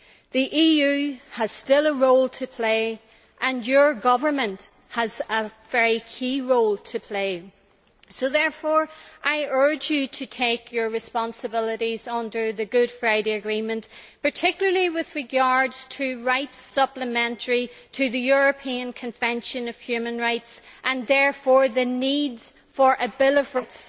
The EU has still a role to play and your government has a very key role to play, so therefore I urge you to take your responsibilities under the Good Friday Agreement, particularly with regard to rights supplementary to the European Convention on Human Rights and therefore the need for a Bill of Rights,